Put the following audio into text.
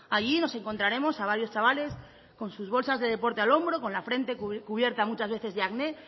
allí nos encontraremos a varios chavales con sus bolsas de deporte al hombro con la frente cubierta muchas veces de acné